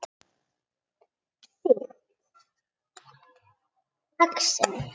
Sýkt exem